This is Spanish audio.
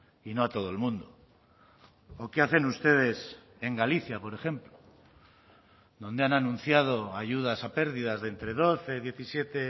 y no a todo el mundo o qué hacen ustedes en galicia por ejemplo donde han anunciado ayudas a pérdidas de entre doce diecisiete